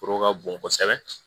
Foro ka bon kosɛbɛ